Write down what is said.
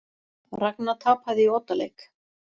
Ragna tapaði í oddaleik